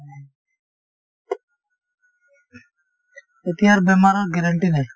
এতিয়াৰ বেমাৰৰ guarantee নাই